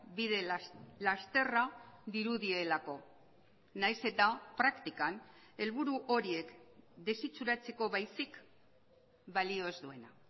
bide lasterra dirudielako nahiz eta praktikan helburu horiek desitxuratzeko baizik balio ez duena